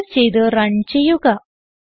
save ചെയ്ത് run ചെയ്യുക